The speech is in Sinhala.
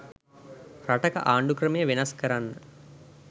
රටක ආණ්ඩු ක්‍රමය වෙනස් කරන්න